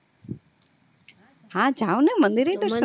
હા જાવ ને મંદિર એય તે